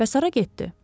Bəs hara getdi?